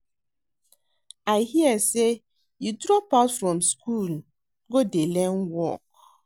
I hear say you drop out from school go dey learn work